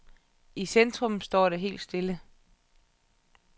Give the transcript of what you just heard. I centrum står det hele stille.